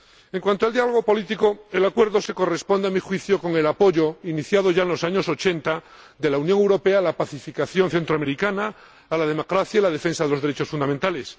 En cuanto al diálogo político, el Acuerdo se corresponde, a mi juicio, con el apoyo, iniciado ya en los años ochenta, de la Unión Europea a la pacificación centroamericana, a la democracia y a la defensa de los derechos fundamentales